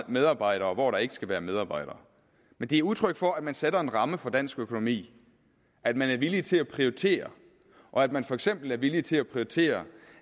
medarbejdere og hvor der ikke skal være medarbejdere men de er udtryk for at man sætter en ramme for dansk økonomi at man er villig til at prioritere og at man for eksempel er villig til at prioritere